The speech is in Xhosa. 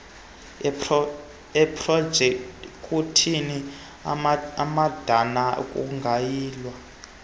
eprojekthi amadana kungayilwa